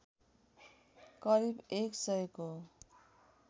करिब एक सयको